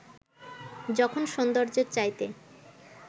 যখন সৌন্দর্যের চাইতে